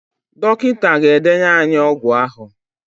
Dọkịta ga-edenye ànyị ọgwụ ahụ.